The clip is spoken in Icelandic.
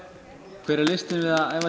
hver er listin við að æfa sig